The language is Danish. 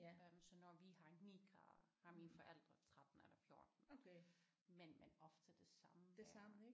Øh så når vi har 9 grader har mine forældre 13 eller 14 men men ofte det samme vejr